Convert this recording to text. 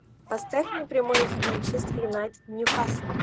поставь мне прямой эфир манчестер юнайтед ньюкасл